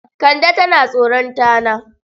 Kande tana tsoron tana.